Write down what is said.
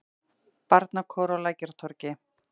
Barnakór á Lækjartorgi.